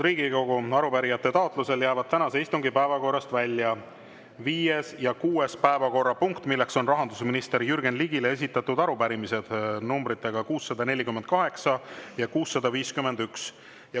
Arupärijate taotlusel jäävad tänase istungi päevakorrast välja viies ja kuues päevakorrapunkt, milleks on rahandusminister Jürgen Ligile esitatud arupärimised number 648 ja 651.